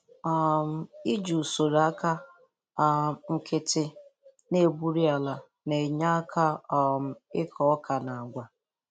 um Iji usoro aka um nkịtị na-egburi ala na-enye aka um n'ịkọ ọka na agwa.